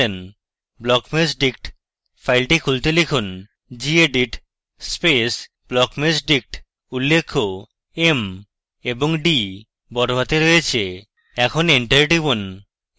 blockmeshdict ফাইলটি খুলতে লিখুন gedit space blockmeshdict উল্লেখ্য m এবং d বড়হাতে রয়েছে এখন এন্টার টিপুন